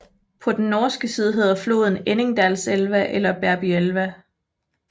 På den norske side hedder floden Enningdalselva eller Berbyelva